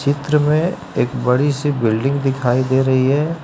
चित्र में एक बड़ी सी बिल्डिंग दिखाई दे रही है।